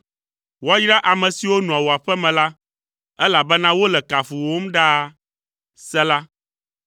Woayra ame siwo nɔa wò aƒe me la, elabena wole kafuwòm ɖaa. Sela